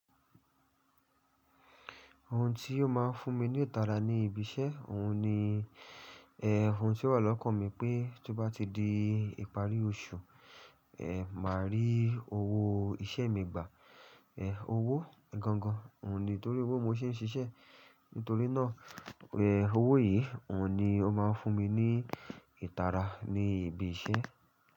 Ohun tí ó máa ń fún mi ní ìtara ni ibi iṣẹ́. Ohun ni, eh, ohun tí wà lọ́kàn mi pé tó bá ti di ìparí oṣù, eh, màá rí owó iṣẹ́ mi gbà. Eh, owó gan-an, òun ni torí owó mo ṣe ń ṣiṣẹ́. Nítorí náà, eh, owó yìí, òun ni ó máa ń fún mi ní ìtara ní ibi iṣẹ́.